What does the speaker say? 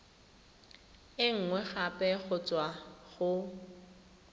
e nngwe gape go tswa